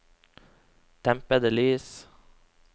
dempede lys